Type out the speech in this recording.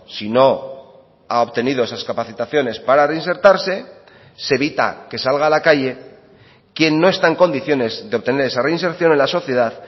si no ha obtenido esas capacitaciones para reinsertarse se evita que salga a la calle quien no está en condiciones de obtener esa reinserción en la sociedad